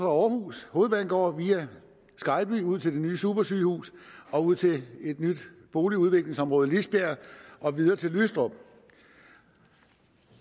aarhus hovedbanegård via skejby ud til det nye supersygehus og ud til et nyt boligudviklingsområde i lisbjerg og videre til lystrup